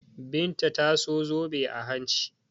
Binta ta sa zobe a hanci.